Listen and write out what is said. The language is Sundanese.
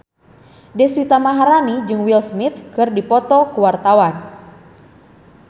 Deswita Maharani jeung Will Smith keur dipoto ku wartawan